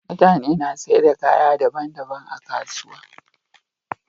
mutane na saida kaya daban daban a kasuwa